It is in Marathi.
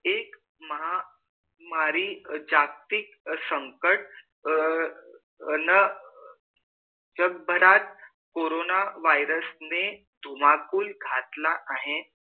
एक महामारी जागतिक संकट अ अ न जग भरात कोरोन virus ने धुमाकूल घातला आहे